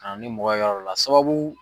a ni mɔgɔ ye yɔrɔ dɔ la sababu